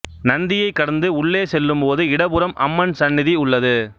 நந்தியைக் கடந்து உள்ளே செல்லும்போது இடப்புறம் அம்மன் சன்னிதி உள்ளது